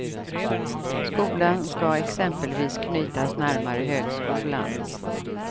Skolan ska exempelvis knytas närmare högskolan.